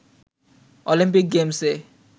Olympic গেমসে